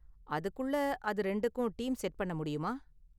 அதுக்குள்ள அது ரெண்டுக்கும் டீம் செட் பண்ண முடியுமா?